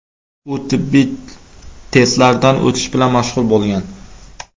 U tibbiy testlardan o‘tish bilan mashg‘ul bo‘lgan.